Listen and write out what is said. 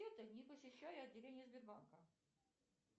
это не посещая отделение сбербанка